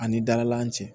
Ani dalakan cɛ